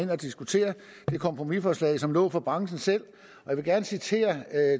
diskutere det kompromisforslag som lå fra branchen selv jeg vil gerne citere